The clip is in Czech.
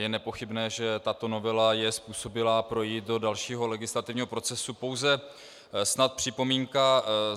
Je nepochybné, že tato novela je způsobilá projít do dalšího legislativního procesu, pouze snad připomínka.